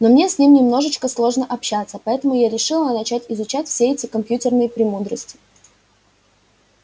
но мне с ним немножко сложно общаться поэтому я решила начать изучать все эти компьютерные премудрости